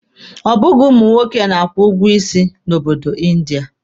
Ọ bụghị ụmụ nwoke na-akwụ ụgwọ isi na obodo India.